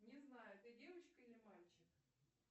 не знаю ты девочка или мальчик